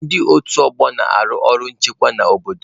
Ndị otu ọgbọ na-arụ ọrụ nchekwa n'obodo.